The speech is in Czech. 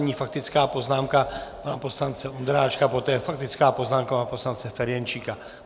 Nyní faktická poznámka pana poslance Ondráčka, poté faktická poznámka pana poslance Ferjenčíka.